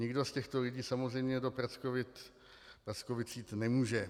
Nikdo z těchto lidí samozřejmě do Prackovic jít nemůže.